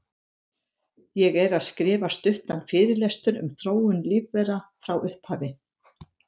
Ég er að skrifa stuttan fyrirlestur um þróun lífvera frá upphafi.